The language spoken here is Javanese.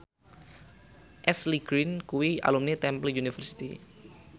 Ashley Greene kuwi alumni Temple University